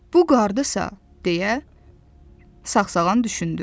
Bu qarddısa, deyə Sağsağan düşündü.